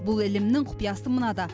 бұл ілімнің құпиясы мынада